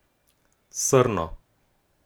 Srno.